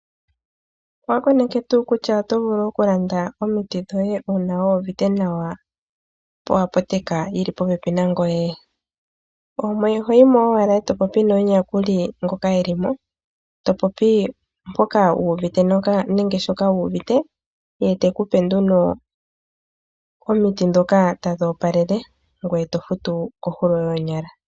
Owa koneke tuu kutya oto vulu oku landa omiti dhoye uuna kwaa uvite nawa? Po aputeka yili po pepi nangoye? Oho yimo owala, to popi nomuyakuli ngoka elimo, to popi mpoka wuuvite nenge shoka wuuvite, ye te kupe nduno omiti ndhoka tadhi opalele, ngweye to future koondungu dhoonyala.